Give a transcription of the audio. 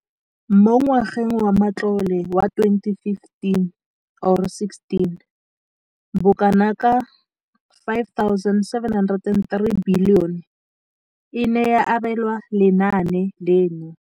Mo ngwageng wa matlole wa 2015,16, bokanaka 5 703 bilione e ne ya abelwa lenaane leno.